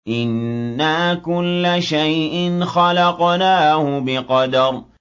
إِنَّا كُلَّ شَيْءٍ خَلَقْنَاهُ بِقَدَرٍ